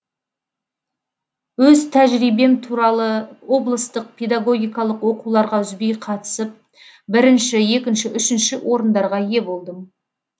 өз тәжірибем туралы облыстық педагогикалық оқуларға үзбей қатысып бірінші екінші үшінші орындарға ие болдым